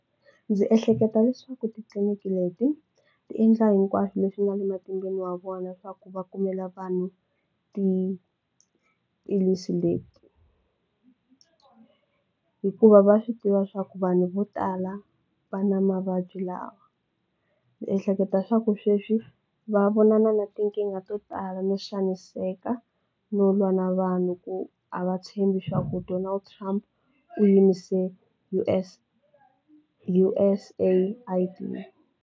Ndzi ehleketa leswaku titliniki leti ti endla hinkwaswo leswi nga le matimbeni ya vona swa ku va kumela vanhu ti hikuva va swi tiva swa ku vanhu vo tala va na mavabyi lawa. Ndzi ehleketa swa ku sweswi va vonana na tinkingha to tala no xaniseka no lwa na vanhu ku a va tshembi swa ku Donald Trump u yime se U_S_A .